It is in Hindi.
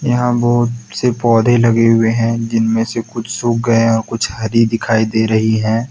यहां बहुत से पौधे लगे हुए हैं जिनमें से कुछ सूख गए है और कुछ हरी दिखाई दे रही हैं।